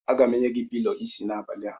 Aga m enye gị pilọ isi n'abalị a.